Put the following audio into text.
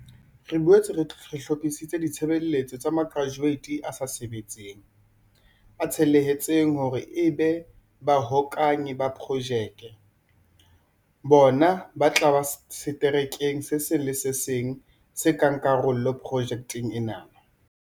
Re boetse re hlo phisitse ditshebeletso tsa makratueiti a sa sebetseng a tsheletseng hore ebe bahokahanyi ba Projeke. Bona ba tla ba seterekeng se seng le se seng se nkang karolo projekeng ena.